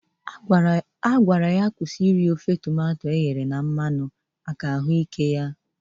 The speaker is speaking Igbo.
Dokinta gwara ya kwusi iri ofe tomato eghere na mmanụ ahụekere n'ihi ahụ ike ya.